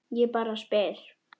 Ég bara spyr!